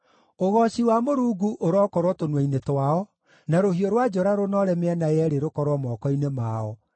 Ũgooci wa Mũrungu ũrokorwo tũnua-inĩ twao, na rũhiũ rwa njora rũnoore mĩena yeerĩ rũkorwo moko-inĩ mao,